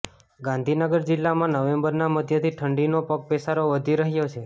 ગાંધીનગર જિલ્લામાં નવેમ્બરનાં મધ્યથી ઠંડીનો પગપેસારો વધી રહ્યો છે